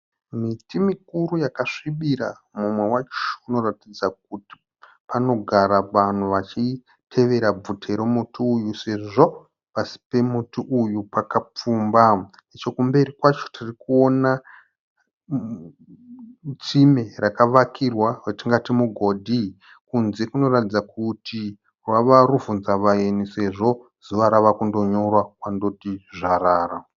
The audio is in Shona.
Miti mukuru yakasvibira. Mumwe wacho unoratidza kuti panogara vanhu vachitevera bvute remuti uyu sezvo pasi pemuti uyu pakapfumba. Chokumberi kwacho tiri kuona tsime rakavakirwa ratingati mugodhi. Kunze kunoratidza kuti rwava rubvunza vaeni sezvo zuva rava kundonyura kwandoti zvarara.